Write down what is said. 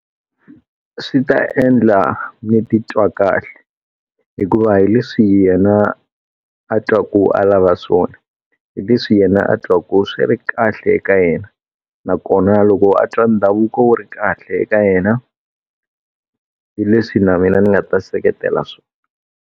Swi ta endla ndzi titwa kahle. Hikuva hi leswi yena a twaku a lava swona. Hi leswi yena a twaku swi ri kahle eka yena. Nakona loko a twa ndhavuko wu ri kahle eka yena, hi leswi na mina ndzi nga ta seketela swona.